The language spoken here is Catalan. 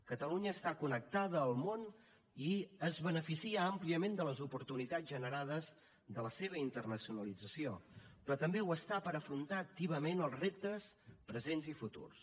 catalunya està connectada al món i es beneficia àmpliament de les oportunitats generades i de la seva internacionalització però també ho està per afrontar activament els reptes presents i futurs